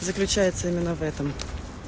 заключается именно в этом